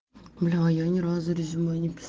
бля я ни разу резюме не писа